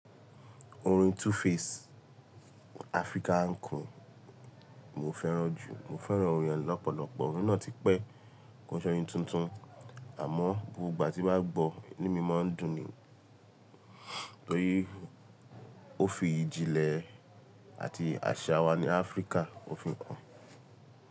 Orin 2Face Africa queen, mo fẹ́ràn jù. Mo fẹ́ràn orin e lọ́pọ̀lọpọ̀, orin náà ti pẹ́ kí ó ṣọrinn tuntun. Àmọ́ gbogbo ìgbà tí bá gbọ́, ínu mi máa ń dùn ni torí ó fi ìjìnlẹ̀ àti àṣà wa ní Áfríkà òfin kan.